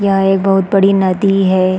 यह एक बहुत बड़ी नदी हैं।